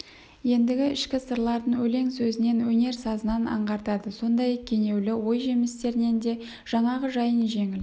ендігі ішкі сырларын өлең сөзінен өнер сазынан аңғартады сондай кенеулі ой жемістерінен де жаңағы жайын жеңіл